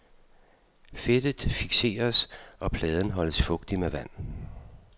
Fedtet fikseres, og pladen holdes fugtig med vand.